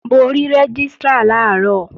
Mo rí Rẹ́gístrà làárọ̀